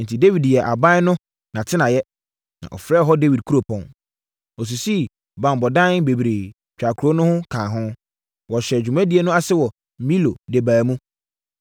Enti, Dawid yɛɛ aban no nʼatenaeɛ, na ɔfrɛɛ hɔ Dawid Kuropɔn. Ɔsisii banbɔdan bebree twaa kuro no ho kaa ho. Wɔhyɛɛ dwumadie no ase wɔ Milo de baa mu.